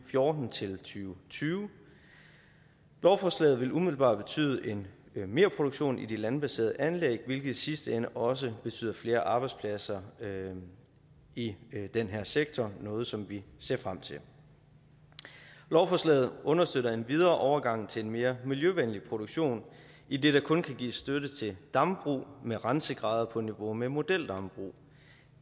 fjorten til tyve tyve lovforslaget vil umiddelbart betyde en merproduktion i de landbaserede anlæg hvilket i sidste ende også betyder flere arbejdspladser i den her sektor noget som vi ser frem til lovforslaget understøtter endvidere overgangen til en mere miljøvenlig produktion idet der kun kan gives støtte til dambrug med rensegrader på niveau med modeldambrug